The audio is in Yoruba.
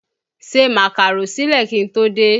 Se Màkàró sílẹ̀ kí n tó dé!